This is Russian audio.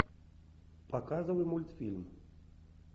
показывай мультфильм